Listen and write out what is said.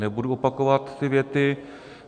Nebudu opakovat ty věty.